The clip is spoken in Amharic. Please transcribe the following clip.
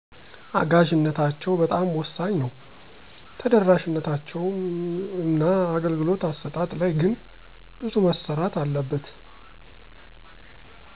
አጋዠነታቸው በጣም ወሳኝ ነው። ተደራሽነታቸው እና አገልግሎት አስጣጥ ላይ ግን ብዙ መሰራት አለበት።